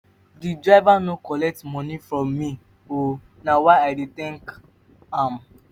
di driver no collect moni from me o na why i dey tank am.